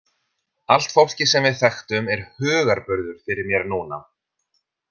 Allt fólkið sem við þekktum er hugarburður fyrir mér núna.